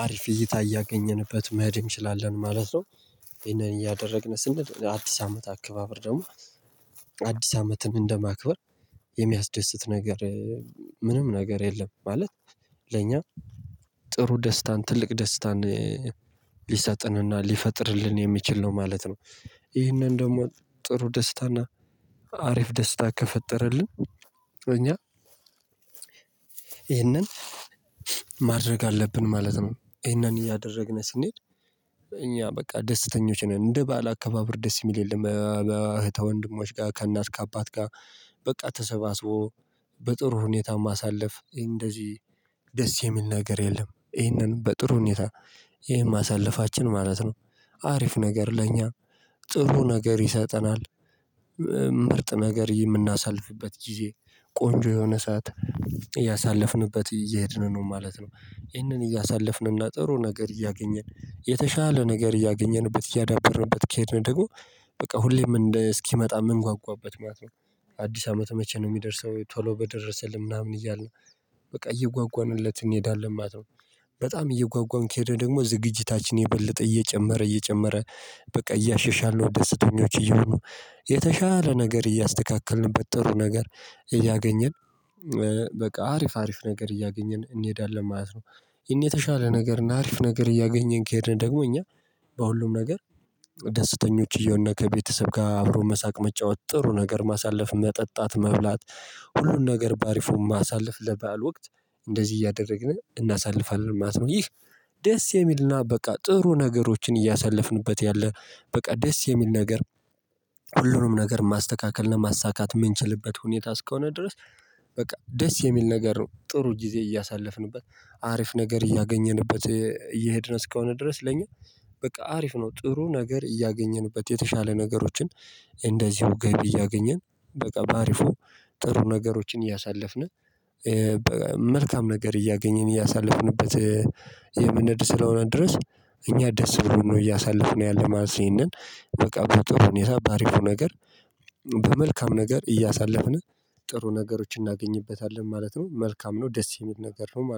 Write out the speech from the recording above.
አሪፍ እይታ እያገኘንበት መሄድ እንችላለን ማለት ነው። ይሄንን እያደረግን ስንል አዲስ አመት አካባበር ደግሞ አዲስ አመትን እንደማክበር የሚያስደስት ነገር ምንም ነገር የለም ማለት ለኛ ጥሩ ደስታን ትልቅ ደስታን ሊሰጥንና ሊፈጥርልን የሚችል ነው ማለት ነው። ይህንን ደግሞ ጥሩ ደስታና አሪፍ ደስታ ከፈጠረልን እኛ ይህንን ማድረግ አለብን ማለት ነው። ይሄንን እያደረግን ስንሄድ እኛ በቃ ደስተኞች እንደ ባዓል አከባበር ደስ የሚል የለም ከእህት ወንድሞች ጋር ከእናት ከአባት ጋር በቃ ተሰባስቦ በጥሩ ሁኔታ ማሳለፍ እንደዚህ ደስ የሚል ነገር የለም ይህንን በጥሩ ሁኔታ ይህን ማሳለፋችን ማለት ነው። አሪፍ ነገር ለእኛ ጥሩ ነገር ይሰጠናል ምርጥ ነገር የምናሳልፍበት ጊዜ ቆንጆ የሆነ ሰዓት እያሳለፍንበት እየሄድን ነው ማለት ነው። ይህንን እያሳለፍንና ጥሩ ነገር እያገኘን የተሻለ ነገር እያገኘንበት እያዳበረበት ከሄድን ደግሞ በቃ ሁሌም እንደ እስኪመጣ ምንጓጓበት ማለት ነው። አዲስ አመት መቼ ነው የሚደርሰው ቶሎ በደረሰልን ምናምን እያልን በቃ እየጓጓንለት እንሄዳለን ማለት ነው። በጣም እየጓጓን ከሄደ ደግሞ ዝግጅታችን የበለጠ እየጨመረ እየጨመረ በቃ እያሻሻለሁ ደስተኞች እየሆኑ የተሻለ ነገር እያስተካከልንበት ጥሩ ነገር እያገኘን በቃ አሪፍ አሪፍ ነገር እያገኘን እንሄዳለን ማለት ነው። ያኔ የተሻለ ነገር ና አሪፍ ነገር እያገኘን ከሄድን ደግሞ እኛ በሁሉም ነገር ደስተኞች እየሆንን ከቤተሰብ ጋር አብሮ መሳቅ መጫወት ጥሩ ነገር ማሳለፍ መጠጣት መብላት ሁሉን ነገር በአሪፉ ማሳለፍ ለበአል ወቅት እንደዚህ እያደረግን እናሳልፋለን ማለት ነው። ይህ ደስ የሚልና በቃ ጥሩ ነገሮችን እያሳለፍንበት ያለ በቃ ደስ የሚል ነገር ሁሉንም ነገር ማስተካከልና ማሳካት የምንችልበት ሁኔታ እስከሆነ ድረስ በቃ ደስ የሚል ነገር ነው። ጥሩ ጊዜ እያሳለፍንበት አሪፍ ነገር እያገኘንበት እየሄድን እስከሆነ ድረስ ለኛ በቃ አሪፍ ነው። ጥሩ ነገር እያገኘንበት የተሻለ ነገሮችን እንደዚሁ ገቢ እያገኘን በቃ በአሪፉ ጥሩ ነገሮችን እያሳለፍን መልካም ነገር እያገኘን እያሳለፍንበት የመንሄድ ስለሆነ ድረስ እኛ ደስ ብሎን ነው እያሳለፍነው ያለ ማለት ነው። በቃ በጥሩ ሁኔታ በአሪፉ ነገር በመልካም ነገር እያሳለፍን ጥሩ ነገሮችን እናገኝበታለን ማለት ነው። መልካም ነው ደስ የሚል ነገር ነው